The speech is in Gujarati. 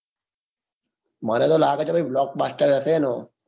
મને તો લાગે તો blockbuster હશે એનો